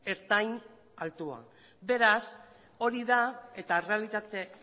ertain altuak beraz hori da eta errealitate